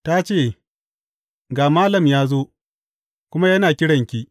Ta ce, Ga Malam ya zo, kuma yana kiranki.